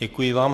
Děkuji vám.